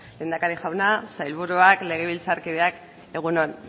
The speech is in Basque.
lehendakari jauna sailburuak legebiltzarkideok egun on